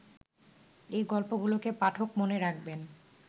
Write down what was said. এ গল্পগুলোকে পাঠক মনে রাখবেন